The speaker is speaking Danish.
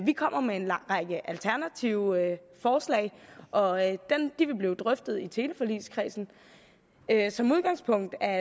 vi kommer med en lang række alternative forslag og de vil blive drøftet i teleforligskredsen som udgangspunkt er